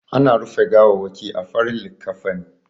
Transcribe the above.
Ana rufe gawawwaki a farin likkafani.